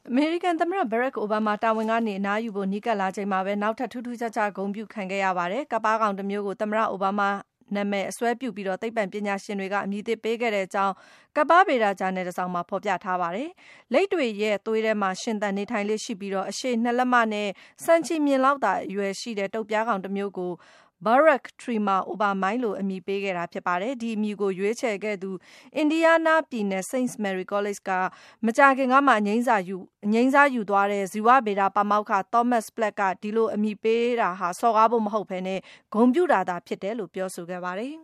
အမေရိကန်သမ္မတ ဘရက်ခ် အိုဘားမား တာဝန်ကနေ အနားယူဖို့ နီးကပ်လာချိန်မှာပဲ နောက်ထပ် ထူးထူးခြားခြား ဂုဏ်ပြုခံခဲ့ရပါတယ်။ ကပ်ပါးကောင်တမျိုးကို သမ္မတ ဘရက်ခ် အိုဘားမား နာမည် အစွဲပြုပြီး သိပ္ပံပညာရှင်တွေက အမည်သစ်ပေးခဲ့တဲ့အကြောင်း ကပ်ပါးဗေဒဂျာနယ် တစောင်မှာ ဖော်ပြထားပါတယ်။ လိပ်တွေရဲ့ သွေးထဲမှာ ရှင်သန်နေထိုင်လေ့ရှိပြီး - အရှည် ၂ လက်မနဲ့ ဆံချည်မျှင်လောက်သာ အရွယ်ရှိတဲ့ တုတ်ပြားကောင်တမျိုးကို Barack Trema Obamai လို့ အမည်ပေးခဲ့တာ ဖြစ်ပါတယ်။ ဒီအမည်ကို ရွေးချယ်ခဲ့သူ အင်ဒီးယားနားပြည်နယ် စိန့် မယ်ရီ ကောလိပ်က မကြာခင်ကမှ အငြိမ်းစားယူသွားတဲ့ ဇီဝဗေဒပါမောက္ခ Thomas Platt က - ဒီလို အမည်ပေးတာဟာ စော်ကားဖို့မဟုတ်ဘဲ - ဂုဏ်ပြုတာသာဖြစ်တယ်လို့ ပြောဆိုခဲ့ပါတယ်